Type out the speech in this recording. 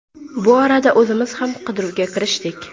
Bu orada o‘zimiz ham qidiruvga kirishdik.